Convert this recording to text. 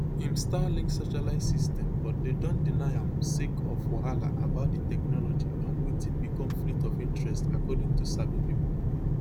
im starlink satellite system but dem don deny am sake of wahala about di technology and wetin be conflict of interest according to sabi pipo